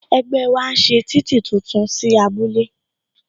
Ẹgbẹ́ wa ń ṣe títì tuntun sí abúlé